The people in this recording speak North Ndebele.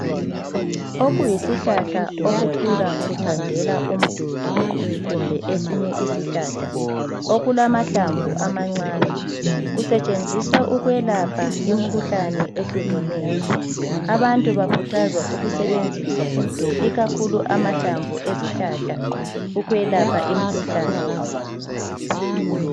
Okuyisihlahla okukhula kuthandela umduli kumbe esinye isihlahla okulamahlamvu amancane kusetshenziswa ukwelapha imikhuhlane ehlukeneyo, abantu bakhuthazwa ukusebenzisa ikakhulu amahlamvu ezihlahla ukwelapha imikhuhlane.